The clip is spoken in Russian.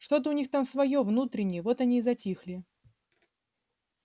что-то у них там своё внутреннее вот они и затихли